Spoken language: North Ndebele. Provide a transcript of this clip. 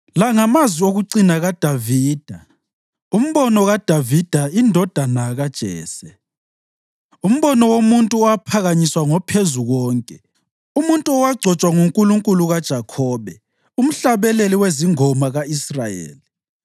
La ngamazwi okucina kaDavida: “Umbono kaDavida indodana kaJese, umbono womuntu owaphakanyiswa ngoPhezukonke, umuntu owagcotshwa nguNkulunkulu kaJakhobe, umhlabeleli wezingoma ka-Israyeli: